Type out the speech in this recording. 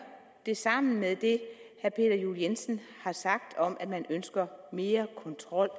det sammen med det herre peter juel jensen har sagt om at man ønsker mere kontrol